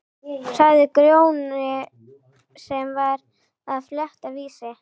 sagði Grjóni sem var að fletta Vísi.